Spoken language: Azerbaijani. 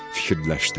Fikirləşdi.